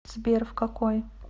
сбер в какой